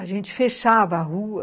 A gente fechava a rua.